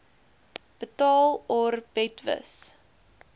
betaal or betwis